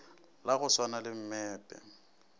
la go swana le mmepe